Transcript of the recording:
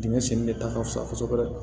Dingɛ senni de ta ka fusa kosɛbɛ